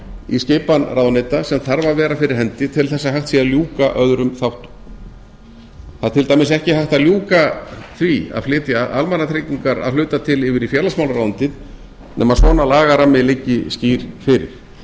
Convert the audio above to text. í skipan ráðuneyta sem þarf að vera fyrir hendi til þess að hægt sé að ljúka öðrum þáttum það er til dæmis ekki hægt að ljúka því að flytja almannatryggingar að hluta til yfir í félagsmálaráðuneytið nema svona lagarammi liggi skýr fyrir